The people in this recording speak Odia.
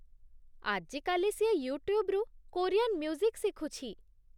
ଆଜିକାଲି ସିଏ ୟୁଟ୍ୟୁବ୍‌ରୁ କୋରିଆନ୍ ମ୍ୟୁଜିକ୍ ଶିଖୁଛି ।